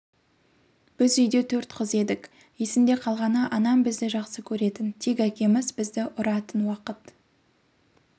біз үйде төрт қыз едік есімде қалғаны анам бізді жақсы көретін тек әкеміз бізді ұратын уақыт